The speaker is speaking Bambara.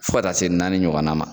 Fɔ ka taa se naani ɲɔgɔnna ma.